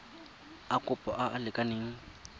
a kopo a a lekaneng